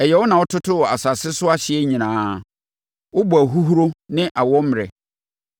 Ɛyɛ wo na wototoo asase so ahyeɛ nyinaa; wobɔɔ ahuhuro ne awɔ mmerɛ.